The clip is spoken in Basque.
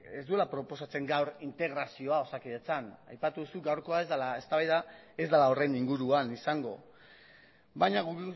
ez duela proposatzen gaur integrazioa osakidetzan aipatu duzu gaurkoa eztabaida ez dela horren inguruan izango baina guk